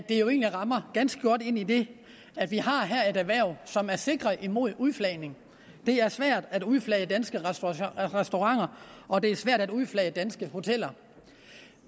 egentlig rammer ganske godt idet vi her at et erhverv som er sikret imod udflagning det er svært at udflage danske restauranter og det er svært at udflage danske hoteller